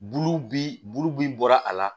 Bulu bi bulu bin bɔra a la